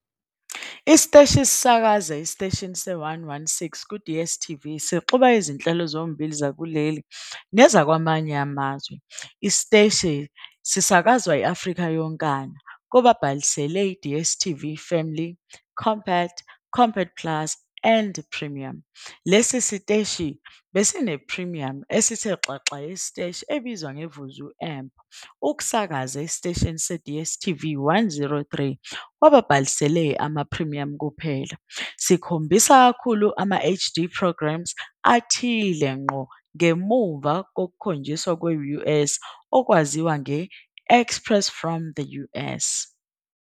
Isiteshi sisakaza esiteshini se-116 ku- Dstv sixuba izinhlelo zombili zakuleli nezakwamanye amazwe. Isiteshi sisakazwa i-Afrika yonkana kubabhalisi beDStv Family, Compact, Compact Plus and Premium. Lesi siteshi besine-premium esithe xaxa yesiteshi esibizwa nge-Vuzu Amp ukusakaza esiteshini se-DStv 103 kubabhalisele ama-premium kuphela, sikhombisa kakhulu ama-HD Programs athile ngqo ngemuva kokukhonjiswa kwe-US okwaziwa nge- "Express From The US".